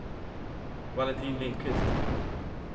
Valentin Lindquist